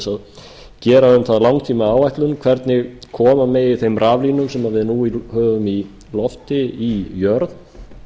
að gera um það langtímaáætlun hvernig koma megi þeim raflínum sem við nú höfum í lofti í jörð